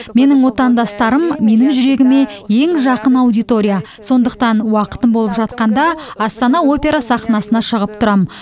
менің отандастарым менің жүрегіме ең жақын аудитория сондықтан уақытым болып жатқанда астана опера сахнасына шығып тұрамын